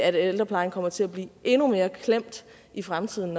at ældreplejen kommer til at blive endnu mere klemt i fremtiden